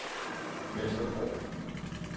Vesterbro